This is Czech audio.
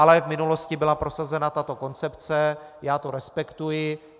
Ale v minulosti byla prosazena tato koncepce, já to respektuji.